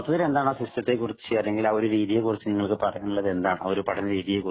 അപ്പൊ എന്താണ് ആ സിസ്റ്റത്തെ കുറിച്ച് അല്ലെങ്കിൽ പഠന രീതിയെക്കുറിച്ചു നിങ്ങൾക്ക് പറയാനുള്ളത് എന്താണ്